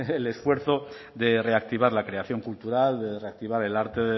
el esfuerzo de reactivar la creación cultural de reactivar el arte